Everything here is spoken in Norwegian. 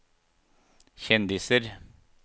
kjendiser